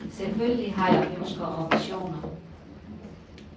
Selvfølgelig har jeg ønsker og visioner.